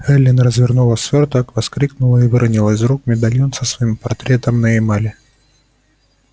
эллин развернула свёрток вскрикнула и выронила из рук медальон со своим портретом на эмали